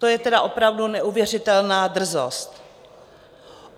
To je tedy opravdu neuvěřitelná drzost!